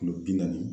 Kulo bi naani